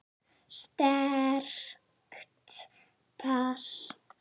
Sterkt pass.